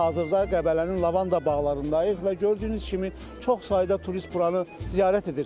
Biz hazırda Qəbələnin lavanda bağlarındayıq və gördüyünüz kimi çox sayda turist buranı ziyarət edir.